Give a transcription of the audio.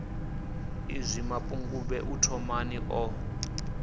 iḽi mapungubwe u thomani ḽo